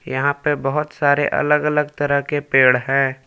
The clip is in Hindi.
यहा पे बहुत सारे अलग अलग तरह के पेड़ है।